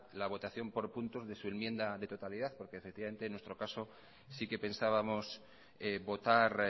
la votación por puntos de su enmienda de totalidad porque en nuestro caso sí que pensábamos votar